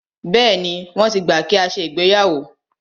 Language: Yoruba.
Bẹ́ẹ̀ni, wọ́n ti gbà kí a ṣe ìgbéyàwó.